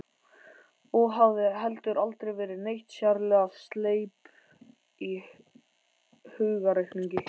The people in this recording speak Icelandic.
Og hafði heldur aldrei verið neitt sérlega sleip í hugarreikningi.